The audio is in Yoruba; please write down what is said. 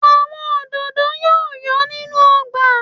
Àwọn òdòdó yóò yọ̀ nínú ọgbà